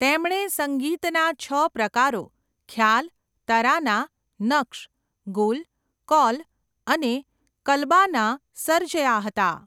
તેમણે સંગીતના છ પ્રકારો ખ્યાલ, તરાના, નક્શ, ગુલ, કૌલ અને કલબાના સર્જ્યાં હતાં.